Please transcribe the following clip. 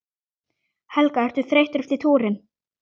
Helga: Ertu þreyttur eftir túrinn?